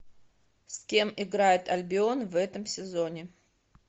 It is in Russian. с кем играет альбион в этом сезоне